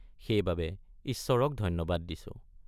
সেইবাবে ঈশ্বৰক ধন্যবাদ দিছোঁ।